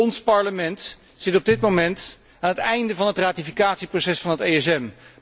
Ons Parlement zit op dit moment aan het einde van het ratificatieproces van het ESM.